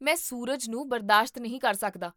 ਮੈਂ ਸੂਰਜ ਨੂੰ ਬਰਦਾਸ਼ਤ ਨਹੀਂ ਕਰ ਸਕਦਾ